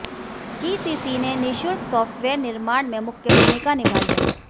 GCC ने निशुल्क software निर्माण में मुख्य भूमिका निभाई है